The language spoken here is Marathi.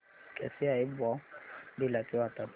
कसे आहे बॉमडिला चे वातावरण